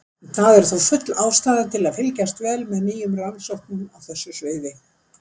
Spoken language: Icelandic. Það er þó full ástæða til að fylgjast vel með nýjum rannsóknum á þessu sviði.